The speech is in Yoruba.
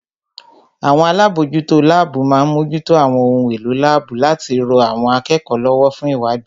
Àwọn alábòójútó láàbù má ń mójútó àwọn ohun èlò láàbù láti rọ àwọn akẹ́kọ̀ọ́ lọ́wọ́ fún ìwádìí